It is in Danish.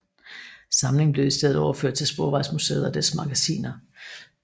Samlingen blev i stedet overført til Sporvejsmuseet og dets magasiner